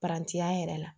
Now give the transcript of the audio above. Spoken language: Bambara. Paranti ya yɛrɛ la